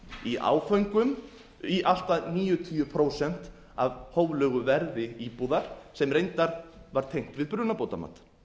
í áföngum í allt að níutíu prósent af hóflegu verði íbúðar sem reyndar var tengt við brunabótamat